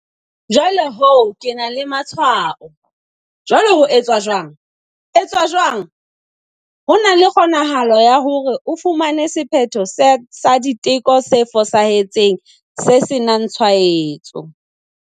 Jwale ho ke ena le matshwao. Jwale ho etswa jwang? etswa jwang? Ho na le kgonahalo ya hore o fumane sephetho sa diteko se fosahetseng se senangtshwaetso.